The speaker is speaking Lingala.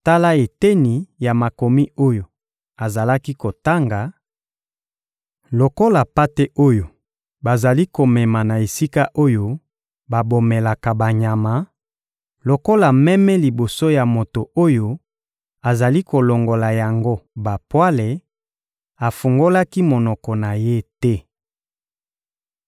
Tala eteni ya Makomi oyo azalaki kotanga: «Lokola mpate oyo bazali komema na esika oyo babomelaka banyama, lokola meme liboso ya moto oyo azali kolongola yango bapwale, afungolaki monoko na ye te.